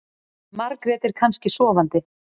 Margrét er kannski sofandi.